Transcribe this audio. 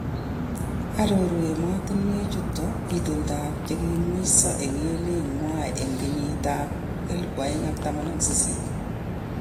Aroru emotunwek chuton itondoab chekimweso en emet nywan en kenyit ab 2018.